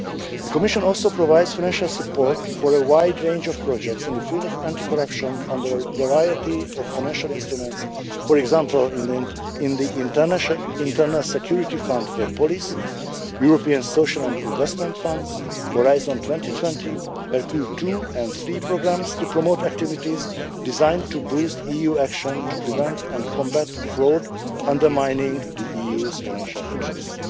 The Commission also provides financial support for a wide range of projects in the field of anti corruption under a variety of financial instruments, for example in the Internal Security Fund for Police, European social and investment funds, Horizon 2020 and Hercule II and III programmes, to promote activities designed to boost EU action to prevent and combat fraud undermining the EU's financial interests.